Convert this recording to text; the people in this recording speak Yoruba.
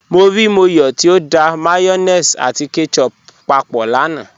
Mọ́ ríí Mọ́yọ̀ tí ó dá mayonnaise àti ketchup pápọ̀ lánà.